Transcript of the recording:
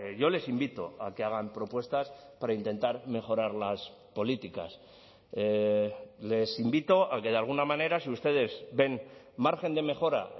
yo les invito a que hagan propuestas para intentar mejorar las políticas les invito a que de alguna manera si ustedes ven margen de mejora